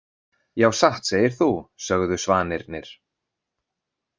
Já satt segir þú, sögðu svanirnir.